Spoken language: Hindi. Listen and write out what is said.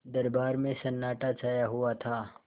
दरबार में सन्नाटा छाया हुआ था